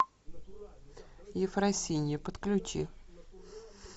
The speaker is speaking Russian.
ефросинья подключи